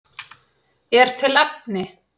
Er til efni?